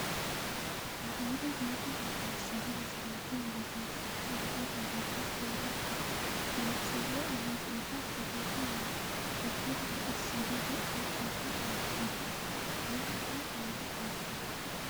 aleenni nooti maa xawisanno misileeti yinummoro addi addi dananna kuula woy biinsille amaddino footooti yaate qoltenno baxissannote xa tenne yannanni togoo footo haara danchate